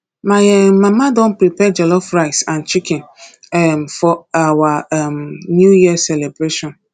my um mama don prepare jollof rice and chicken um for our um new year celebration